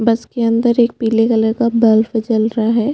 बस के अंदर पिले कलर का बल्ब है।